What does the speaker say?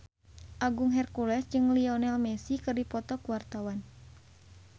Agung Hercules jeung Lionel Messi keur dipoto ku wartawan